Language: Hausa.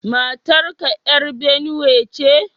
Matar ka ‘yar Binuwe ce?